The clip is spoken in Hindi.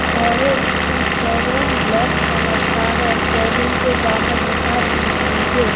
और इस शोरूम ब्लैक कलर का है शोरूम के बाहर लिखा है एंट्री गेट ।